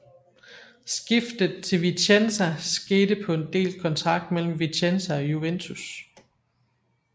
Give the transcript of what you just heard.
Skiftet til Vicenza skete på en delt kontrakt mellem Vicenza og Juventus